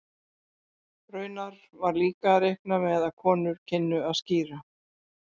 Raunar var líka reiknað með að konur kynnu að skíra.